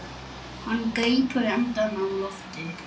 Hann grípur andann á lofti.